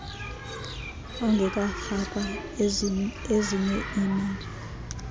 ongekafakwa ezinye iimali